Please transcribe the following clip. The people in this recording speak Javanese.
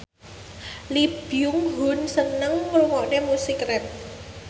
Lee Byung Hun seneng ngrungokne musik rap